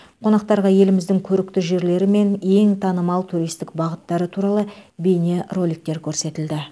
қонақтарға еліміздің көрікті жерлері мен ең танымал туристік бағыттары туралы бейнероликтер көрсетілді